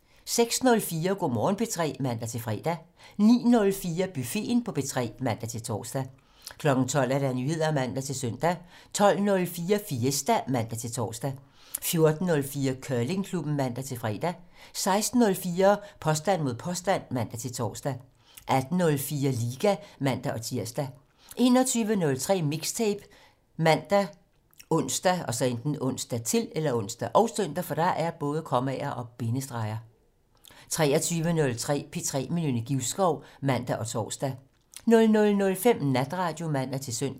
06:04: Go' Morgen P3 (man-fre) 09:04: Buffeten på P3 (man-tor) 12:00: Nyheder (man-søn) 12:04: Fiesta (man-tor) 14:04: Curlingklubben (man-fre) 16:04: Påstand mod påstand (man-tor) 18:04: Liga (man-tir) 21:03: Mixtape ( man, ons, -søn) 23:03: P3 med Nynne Givskov (man og tor) 00:05: Natradio (man-søn)